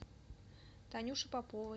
танюше поповой